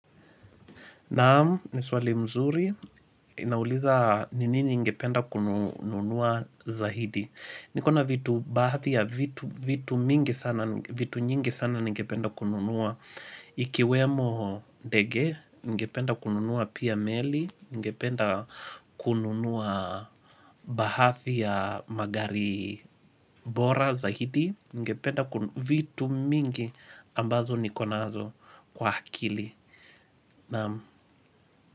Naam, niswali mzuri, nauliza ni nini ningependa kununua zaidi Nikona vitu baadhi ya vitu mingi sana, vitu nyingi sana ningependa kununua Iki wemo ndege, ningependa kununua pia meli, ningependa kununua bahafi ya magari bora zaidi ningependa vitu mingi ambazo niko nazo kwa akili Naam.